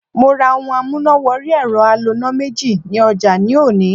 Mo ra ohun amúnà wọrí ẹ̀rọ aloná méjì ní ọjà ní òní.